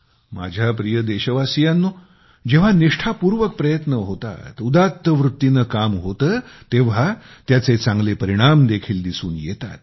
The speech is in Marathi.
माझ्या प्रिय देशवासियांनो जेव्हा निष्ठापूर्वक प्रयत्न होतात उदात्त वृत्तीने काम होते तेव्हा त्याचे चांगले परिणाम देखील दिसून येतात